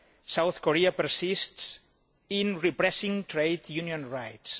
South Korea persists in repressing trade union rights.